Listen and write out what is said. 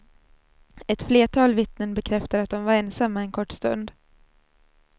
Ett flertal vittnen bekräftar att de var ensamma en kort stund.